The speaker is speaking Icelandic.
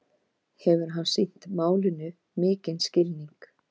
Hann hefur sýnt málinu mikinn skilning